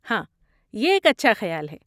ہاں، یہ ایک اچھا خیال ہے۔